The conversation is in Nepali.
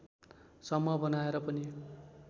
समूह बनाएर पनि